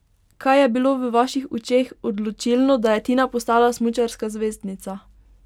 Kaj je bilo v vaših očeh odločilno, da je Tina postala smučarska zvezdnica?